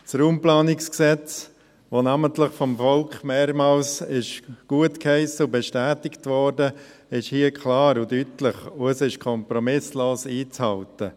Das RPG, das namentlich vom Volk mehrmals gutgeheissen und bestätigt wurde, ist hier klar und deutlich, und es ist kompromisslos einzuhalten.